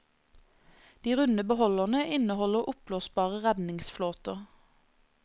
De runde beholderne inneholder oppblåsbare redningsflåter.